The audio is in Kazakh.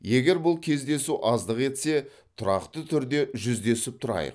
егер бұл кездесу аздық етсе тұрақты түрде жүздесіп тұрайық